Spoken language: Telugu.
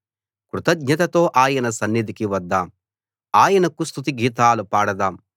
కృతజ్ఞతతో ఆయన సన్నిధికి వద్దాం ఆయనకు స్తుతి గీతాలు పాడదాం